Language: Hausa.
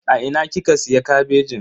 A ina kika siya kabejin?